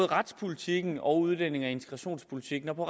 retspolitikken og udlændinge og integrationspolitikken og på